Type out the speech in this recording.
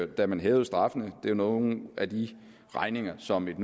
da man hævede straffene det er nogle af de regninger som et